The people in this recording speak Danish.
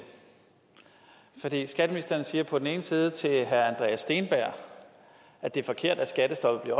skatteministeren siger på den ene side til herre andreas steenberg at det er forkert at skattestoppet